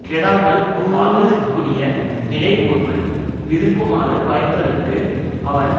கெடாமல் வாழ்வதற்குரிய நிலை ஒருவன் விரும்புமாறு வாய்ப்பதற்கு அவன்